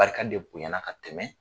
Barika de bonyana ka tɛmɛ